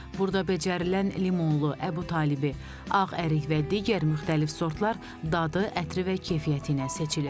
Burda becərilən limonlu, Əbutalibi, ağ ərik və digər müxtəlif sortlar dadı, ətri və keyfiyyəti ilə seçilir.